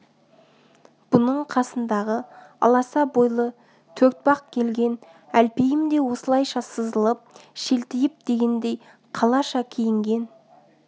бұның қасындағы аласа бойлы төртбақ келген әлпейім де осылайша сызылып шелтиіп дегендей қалаша киінген